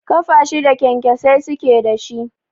Ƙafa shida kyankyasai suke da shi.